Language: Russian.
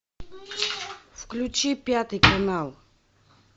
включи пятый канал